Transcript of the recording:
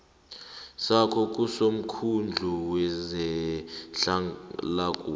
sakho kusomkhandlu wezehlalakuhle